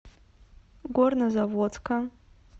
горнозаводска